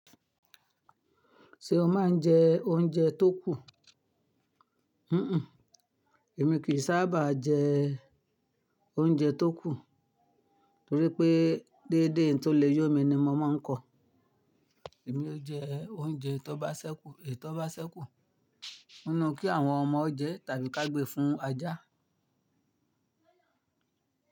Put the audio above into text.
Ṣé o máa ń jẹ oúnjẹ tó kù? Èmi kì í sábà jẹ oúnjẹ tó kù torí pé déédéé n tó le yó mi ni mo máa ń kọ. Èmi ó jẹ oúnjẹ tó bá ṣẹ́kù, è tó bá sẹ́kù nínú kí àwọn ọmọ o jẹ tàbí ká gbé fún ajá.